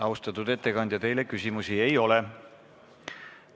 Austatud ettekandja, teile küsimusi ei ole.